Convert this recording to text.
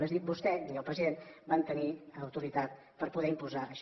és a dir ni vostè ni el president van tenir autoritat per poder imposar això